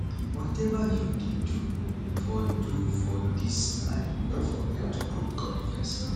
whatever you dey do for do for dis life no forget to put god first